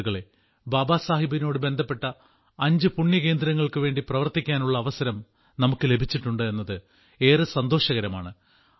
സുഹൃത്തുക്കളെ ബാബാ സാഹിബിനോട് ബന്ധപ്പെട്ട അഞ്ച് പുണ്യകേന്ദ്രങ്ങൾക്കു വേണ്ടി പ്രവർത്തിക്കാനുള്ള അവസരം നമുക്ക് ലഭിച്ചിട്ടുണ്ട് എന്നത് ഏറെ സന്തോഷകരമാണ്